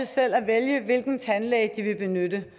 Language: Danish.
selv at vælge hvilken tandlæge de vil benytte